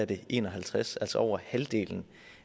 det er en og halvtreds altså over halvdelen